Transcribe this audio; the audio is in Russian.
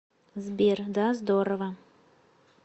сбер да здорово